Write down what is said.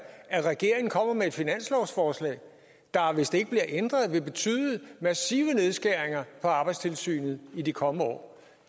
at regeringen kommer med et finanslovsforslag der hvis det ikke bliver ændret vil betyde massive nedskæringer i arbejdstilsynet i de kommende år